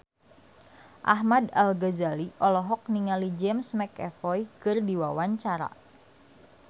Ahmad Al-Ghazali olohok ningali James McAvoy keur diwawancara